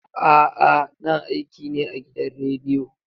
A'a, na aiki ne a gidan rediyo.